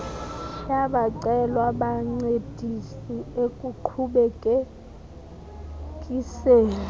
bayacelwa bancedise ekuqhubekekiseni